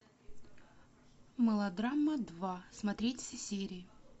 мелодрама два смотреть все серии